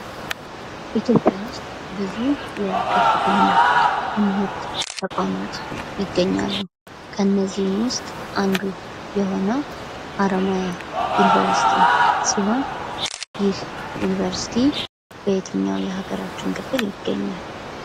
ኢትዮጵያ ውስጥ ብዙ የከፍተኛ ትምህርት ተቋማት ይገኛሉ። ከነዚህም ውስጥ አንዱ የሆነው ሀረማያ ዩኒቨርስቲ ሲሆን ይህ ዩኒቨርስቲ በየትኛው የሀገራችን ክፍል ይገኛል?